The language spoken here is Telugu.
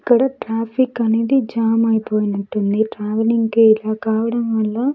ఇక్కడ ట్రాఫిక్ అనేది జామ్ అయిపోయినట్టుంది ట్రావెలింగ్ కి ఇలా కావడం వల్ల--